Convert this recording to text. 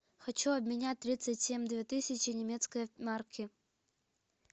хочу обменять тридцать семь две тысячи немецкой марки